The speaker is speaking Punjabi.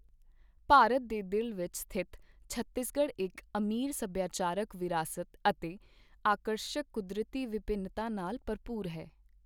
ਭਾਰਤ ਦੇ ਦਿਲ ਵਿੱਚ ਸਥਿਤ ਛੱਤੀਸਗੜ੍ਹ ਇੱਕ ਅਮੀਰ ਸੱਭਿਆਚਾਰਕ ਵਿਰਾਸਤ ਅਤੇ ਆਕਰਸ਼ਕ ਕੁਦਰਤੀ ਵਿਭਿੰਨਤਾ ਨਾਲ ਭਰਪੂਰ ਹੈ।